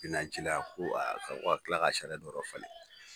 be na ci la ko a a ka ko ka kila ka sariya dɔ ala fana